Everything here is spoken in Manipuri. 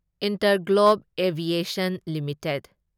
Interglobe aviation limited